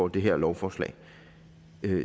det her lovforslag